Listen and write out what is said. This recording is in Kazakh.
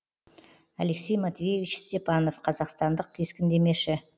алексей матвеевич степанов қазақстандық кескіндемеші